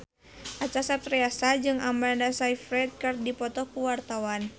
Acha Septriasa jeung Amanda Sayfried keur dipoto ku wartawan